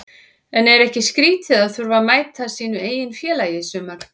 En er ekki skrítið að þurfa að mæta sínu eigin félagi í sumar?